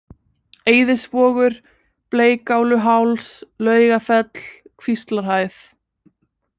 Eiðisvogur, Bleikáluháls, Laugafell, Kvíslarhæð